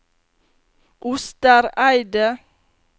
Ostereidet